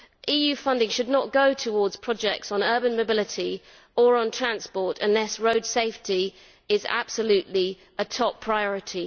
EU funding should not go towards projects on urban mobility or on transport unless road safety is absolutely a top priority.